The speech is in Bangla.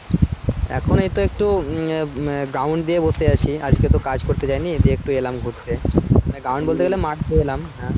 এখন এই তো একটু উম আহ ground দিয়ে বসে আছি আজকে তো কাজ করতে যায়নি দিয়ে একটু এলাম ঘুরতে। মানে মাঠ দিকে এলাম